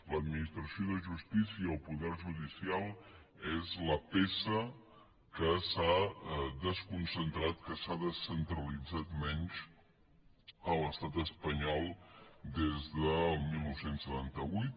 l’administració de justícia o poder judicial és la peça que s’ha desconcentrat que s’ha descentralitzat menys a l’estat espanyol des del dinou setanta vuit